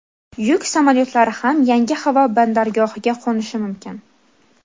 yuk samolyotlari ham yangi havo bandargohiga qo‘nishi mumkin.